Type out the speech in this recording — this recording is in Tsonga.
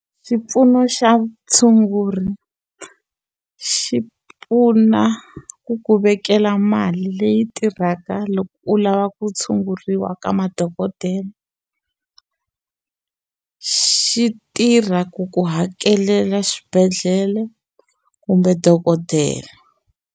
Xipfuno xa vutshunguri xi pfuna ku ku vekela mali leyi tirhaka loko u lava ku tshunguriwa ka madokodele xi tirha ku ku hakelela xibedhlele kumbe dokodela.